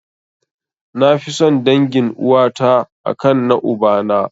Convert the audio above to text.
Nafi son dangin uwata a kan na ubana.